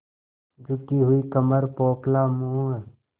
झुकी हुई कमर पोपला मुँह